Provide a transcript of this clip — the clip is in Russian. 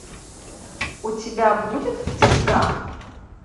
у тебя будет в тисках